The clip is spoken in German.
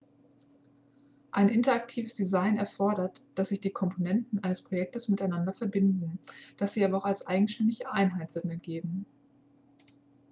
ein interaktives design erfordert dass sich die komponenten eines projektes miteinander verbinden dass sie aber auch als eigenständige einheiten sinn ergeben